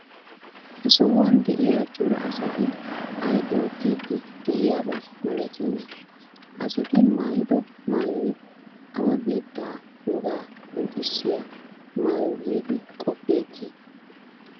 Ha sohuwan de'iya cora asati ay oottiiddi de'iyaba malatiyonaa? Ha asati maayido maayoy awa biittaa wogaa qonccissiya maayo giidi qoppeetii?